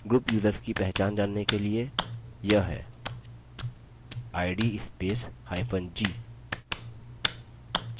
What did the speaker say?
group users की पहचान जानने के लिए यह है id spacehyphen g